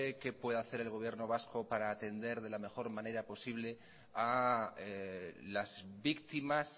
qué puede hacer el gobierno vasco para atender de la mejor manera posible a las víctimas